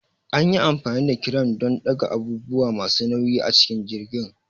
An yi amfani da kiram don ɗaga abubuwa masu nauyi a cikin jirgin.